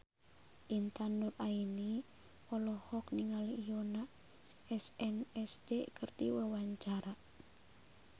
Intan Nuraini olohok ningali Yoona SNSD keur diwawancara